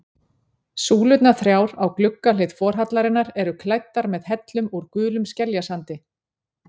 Súlurnar þrjár á gluggahlið forhallarinnar eru klæddar með hellum úr gulum skeljasandi.